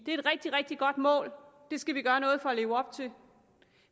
et rigtig rigtig godt mål og det skal vi gøre noget for at leve op til